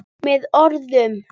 Með orðum.